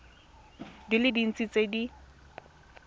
di le dintsi tse di